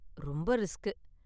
ரொம்ப ரிஸ்க்.